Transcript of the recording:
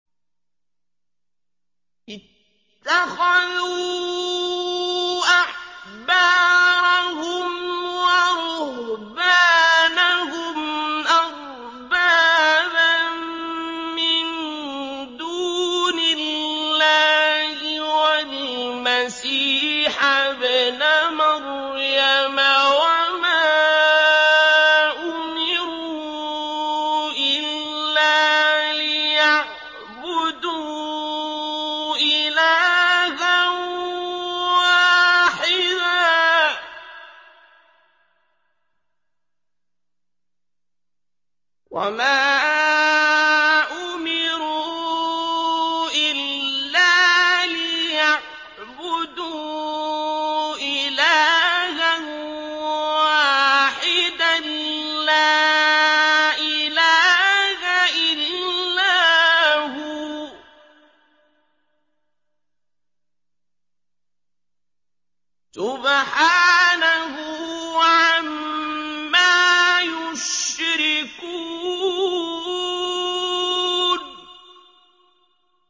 اتَّخَذُوا أَحْبَارَهُمْ وَرُهْبَانَهُمْ أَرْبَابًا مِّن دُونِ اللَّهِ وَالْمَسِيحَ ابْنَ مَرْيَمَ وَمَا أُمِرُوا إِلَّا لِيَعْبُدُوا إِلَٰهًا وَاحِدًا ۖ لَّا إِلَٰهَ إِلَّا هُوَ ۚ سُبْحَانَهُ عَمَّا يُشْرِكُونَ